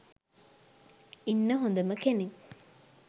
ඉන්න හොඳම කෙනෙක්